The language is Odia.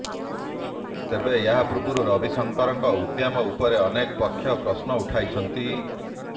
ତେବେ ଏହାପୂର୍ବରୁ ରବିଶଙ୍କରଙ୍କ ଉଦ୍ୟମ ଉପରେ ଅନେକ ପକ୍ଷ ପ୍ରଶ୍ନ ଉଠାଇଛନ୍ତି